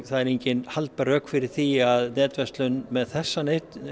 það eru engin haldbær rök fyrir því að netverslun með þessa